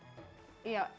ef